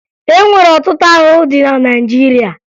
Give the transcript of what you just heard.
E nwere ọtụtụ ahụhụ dị na Naịjirịa